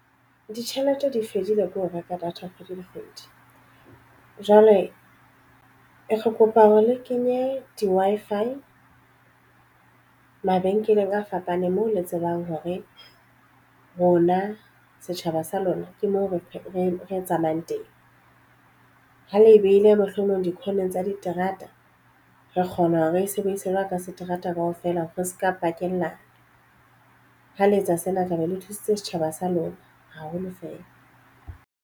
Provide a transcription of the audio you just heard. Ditjhelete di fedile ke ho reka data kgwedi le kgwedi. Jwale re kopa hore le kenye di-Wi-Fi mabenkeleng a fapaneng moo le tsebang hore rona setjhaba sa lona ke moo re tsamayang teng ha le e behile mohlomong dikhoneng tsa diterata re kgona hore re e sebedisa jwalo ka seterata kaofela re se ka pakella ha le etsa sena taba le thusitse setjhaba sa lona haholo feela.